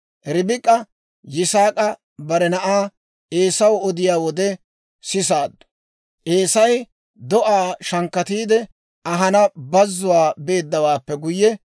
Ribik'a Yisaak'i bare na'aa Eesaw odiyaa wode sisaaddu. Eesay do'aa shankkatiide ahanaw bazuwaa beeddawaappe guyye,